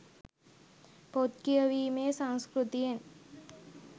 පොත් කියවීමේ සංස්කෘතියෙන්